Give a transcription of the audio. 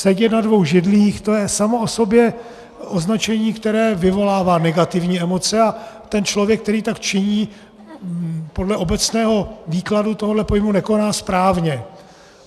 Sedět na dvou židlích, to je samo o sobě označení, které vyvolává negativní emoce, a ten člověk, který tak činí, podle obecného výkladu tohohle pojmu nekoná správně.